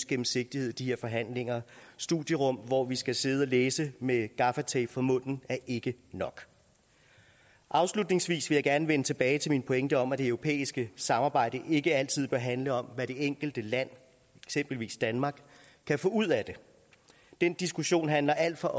gennemsigtighed i de her forhandlinger studierum hvor vi skal sidde og læse med gaffatape for munden er ikke nok afslutningsvis vil jeg gerne vende tilbage til min pointe om at det europæiske samarbejde ikke altid bør handle om hvad det enkelte land eksempelvis danmark kan få ud af det den diskussion handler alt for